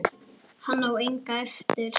Hann á enga eftir.